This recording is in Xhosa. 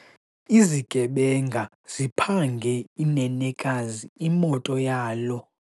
Izigebenga ziphange inenekazi imoto yalo.